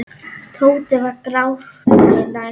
Tóti var gráti nær.